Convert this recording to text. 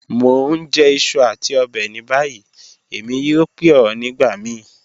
Mo n jẹ iṣu ati ọbẹ ni bayi, Emi yoo pe ọ nigbamii.